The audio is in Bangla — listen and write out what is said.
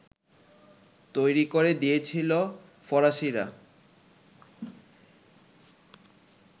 তৈরি করে দিয়েছিল ফরাসিরা